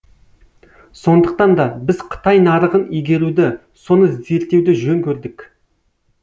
сондықтанда біз қытай нарығын игеруді соны зерттеуді жөн көрдік